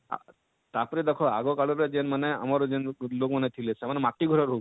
ତାପରେ ଦେଖ ଆଗର କାଳରେ ଯେନ ମାନେ ଆମର ଯେନ ଲୋକ ମାନେ ଥିଲେ ସେମାନେ ମାଟିର ଘରେ ରହୁ ଥିଲେ?